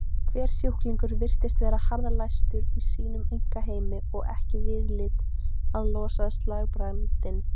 Hver sjúklingur virtist vera harðlæstur í sínum einkaheimi og ekki viðlit að losa slagbrandinn.